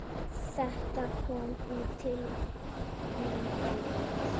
Þetta kom til mín óvænt.